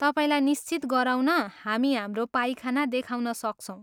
तपाईँलाई निश्चित गराउन हामी हाम्रो पाइखाना देखाउन सक्छौँ।